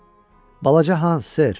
Balaca Hans?